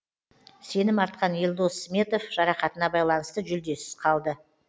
сенім артқан елдос сметов жарақатына байланысты жүлдесіз қалды